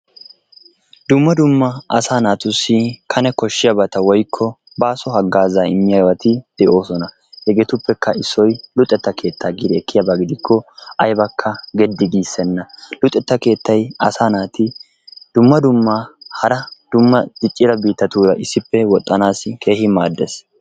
Dumma dumma asaa naatussi Kane koshshiyabati/baaso haggaazaa immiyabati de'oosona. Hegeetuppekka issoy luxetta keettaa giidi ekkiyaba gidikko aybaka geddi giissenna. Luxetta keettay asaa naati dumma dumma hara dumma diccida biittatuura woxxanaassi keehi maaddees.